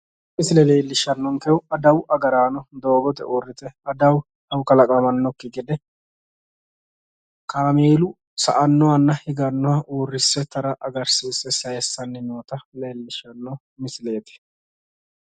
tini misile leelishanonkehu adawu agaraano doogote uurrite adawu kalaqamannokki gede kaameelu sa'annohanna higannoha uurrisse tara agarsiise sayiissanni noota leellishshanno misileeti.